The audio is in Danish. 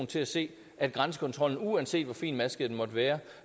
til at se at grænsekontrollen uanset hvor finmasket den måtte være